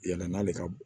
Yala n'ale ka